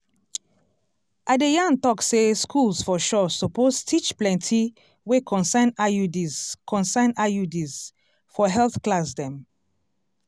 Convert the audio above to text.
i de yan tok say schools for sure suppose teach plenti wey concern iuds concern iuds for health class dem